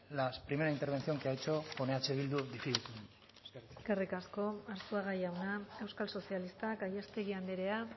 la primera intervención que ha hecho con eh bildu difícilmente eskerrik asko eskerrik asko arzuaga jauna euskal sozialistak gallástegui andrea